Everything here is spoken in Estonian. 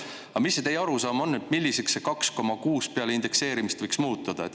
Aga mis see teie arusaam on, milliseks see 2,6 peale indekseerimist võiks muutuda?